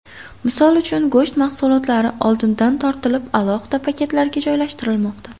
Misol uchun, go‘sht mahsulotlari oldindan tortilib, alohida paketlarga joylashtirilmoqda.